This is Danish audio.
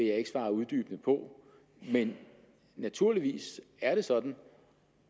jeg ikke svare uddybende på men naturligvis er det sådan